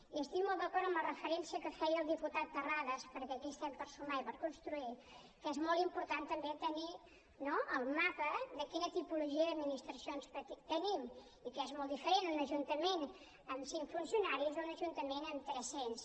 i estic molt d’acord amb la referència que feia el diputat terrades perquè aquí estem per sumar i per construir que és molt important també tenir el mapa de quina tipologia d’administracions tenim i que és molt diferent un ajuntament amb cinc funcionaris que un ajuntament amb tres cents